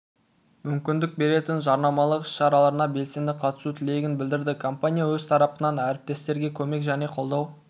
мүмкіндік беретін жарнамалық іс-шараларына белсенді қатысу тілегін білдірді компания өз тарапынан әріптестерге көмек және қолдау